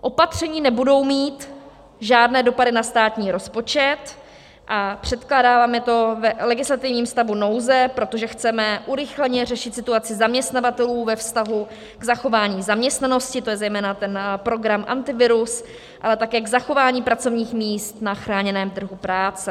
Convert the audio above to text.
Opatření nebudou mít žádné dopady na státní rozpočet a předkládáme to v legislativním stavu nouze, protože chceme urychleně řešit situaci zaměstnavatelů ve vztahu k zachování zaměstnanosti, to je zejména ten program Antivirus, ale také k zachování pracovních míst na chráněném trhu práce.